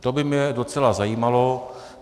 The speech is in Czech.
To by mě docela zajímalo.